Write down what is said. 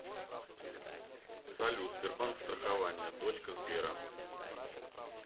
салют сбербанк страхование дочка сбера